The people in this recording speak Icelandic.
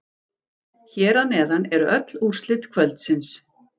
Hér að neðan eru öll úrslit kvöldsins.